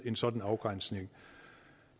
en sådan afgrænsning